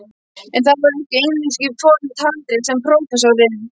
En það voru ekki einungis forn handrit sem prófessorinn